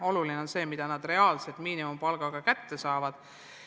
Oluline on see, mida nad reaalselt miinimumpalgana kätte saavad.